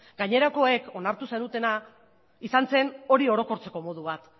gainerakoak onartu zenutena izan zen hori orokortzeko modu bat